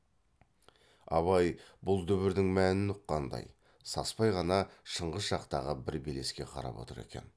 абай бұл дүбірдің мәнін ұққандай саспай ғана шыңғыс жақтағы бір белеске қарап отыр екен